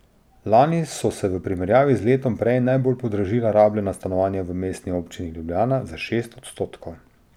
Lani so se v primerjavi z letom prej najbolj podražila rabljena stanovanja v Mestni občini Ljubljana, za šest odstotkov.